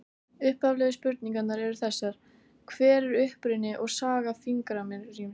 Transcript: Upphaflegu spurningarnar eru þessar: Hver er uppruni og saga fingraríms?